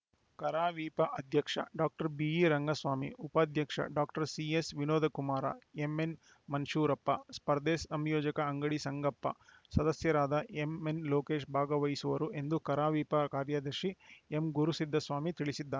ಕರಾವಿಪ ಅಧ್ಯಕ್ಷ ಡಾಕ್ಟರ್ ಬಿಇರಂಗಸ್ವಾಮಿ ಉಪಾಧ್ಯಕ್ಷ ಡಾಕ್ಟರ್ ಸಿಎಸ್‌ವಿನೋದಕುಮಾರ ಎಂಎನ್‌ಮುಷ್ಟೂರಪ್ಪ ಸ್ಪರ್ಧೆ ಸಂಯೋಜಕ ಅಂಗಡಿ ಸಂಗಪ್ಪ ಸದಸ್ಯರಾದ ಎನ್‌ಎಂಲೋಕೇಶ ಭಾಗವಹಿಸುವರು ಎಂದು ಕರಾವಿಪ ಕಾರ್ಯದರ್ಶಿ ಎಂಗುರುಸಿದ್ದಸ್ವಾಮಿ ತಿಳಿಸಿದ್ದಾರೆ